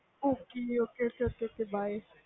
ok ok by by